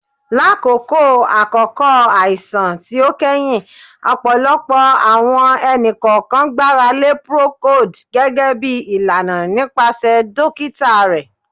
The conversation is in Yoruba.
Lakoko akoko aisan ti o kẹhin, ọpọlọpọ awọn ẹni-kọọkan gbarale Procold gẹgẹbi ilana nipasẹ dokita rẹ